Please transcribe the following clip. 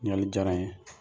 Ɲininkali diyara n ye